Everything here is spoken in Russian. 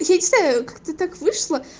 я не знаю как-то так вышло